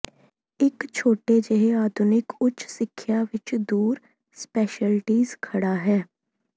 ਇੱਕ ਛੋਟੇ ਜਿਹੇ ਆਧੁਨਿਕ ਉੱਚ ਸਿੱਖਿਆ ਵਿੱਚ ਦੂਰ ਸਪੈਸ਼ਲਟੀਜ਼ ਖੜ੍ਹਾ ਹੈ